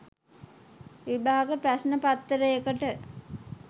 විභාග ප්‍රශ්ණ පත්තරේකට